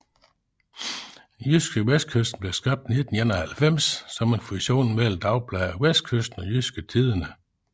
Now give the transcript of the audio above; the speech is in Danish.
JydskeVestkysten blev skabt i 1991 som en fusion mellem dagbladet Vestkysten og Jydske Tidende